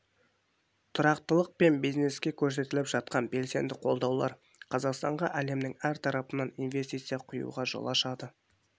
тұрақтылық пен бизнеске көрсетіліп жатқан белсенді қолдаулар қазақстанға әлемнің әр тарапынан инвестиция құюға жол ашады